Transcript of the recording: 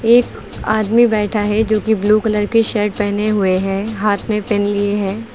एक आदमी बैठा है जो कि ब्लू कलर के शर्ट पहने हुए है। हाथ में पेन लिए है।